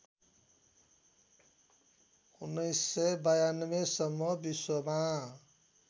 १९९२ सम्म विश्वमा